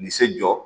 Ni se jɔ